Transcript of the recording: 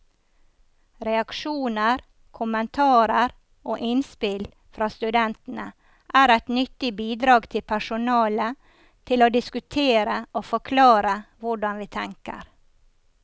Reaksjoner, kommentarer og innspill fra studentene er et nyttig bidrag til personalet til å diskutere og forklare hvordan vi tenker.